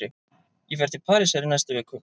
Ég fer til Parísar í næstu viku.